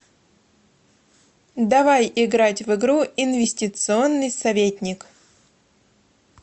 давай играть в игру инвестиционный советник